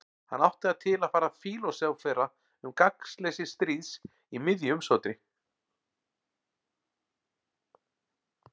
Hann átti það til að fara að fílósófera um gagnsleysi stríðs í miðju umsátri.